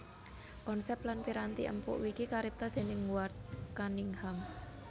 Konsep lan piranti empuk Wiki karipta déning Ward Cunningham